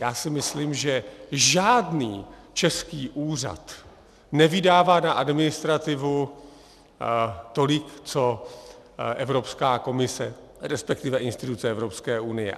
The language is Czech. Já si myslím, že žádný český úřad nevydává na administrativu tolik co Evropská komise, respektive instituce Evropské unie.